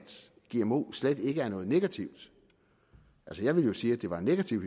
gmo slet ikke er noget negativt altså jeg ville jo sige at det var negativt